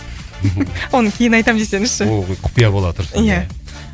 оны кейін айтамын десеңізші ол қыз құпия бола тұрсын иә